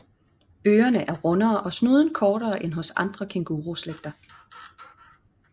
Ørerne er rundere og snuden kortere end hos andre kænguruslægter